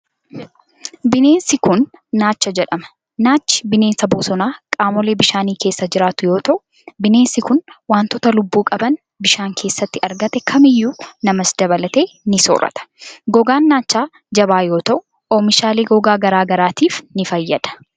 Bineensi kun, naacha jedhama. Naachi bineensa bosonaa qaamolee bishaanii keessa jiraatu yoo ta'u, bineensi kun wantoota lubbuu qaban bishaan keessatti argate kamiyyuu namas dabalatee ni soorata. Gogaan naachaa jabaa yoo ta'u, oomishaalee gogaa garaa garaatif ni fayyada.